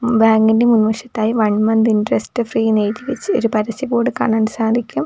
Bank ൻ്റെ മുൻവശത്തായി one month interest free എന്ന് എഴുതിവെച്ച ഒരു പരസ്യ ബോർഡ് കാണാൻ സാധിക്കും.